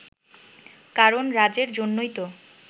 কারণ রাজের জন্যই তো